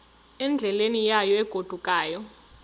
endleleni yayo egodukayo